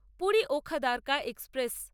পুরী ওখাদারকা এক্সপ্রেস